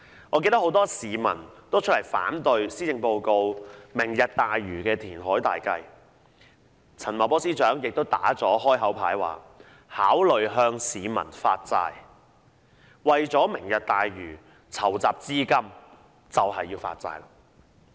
我記得很多市民也出來反對施政報告的"明日大嶼"填海計劃，陳茂波司長亦已"打開口牌"，說考慮向市民發債，為"明日大嶼"籌集資金。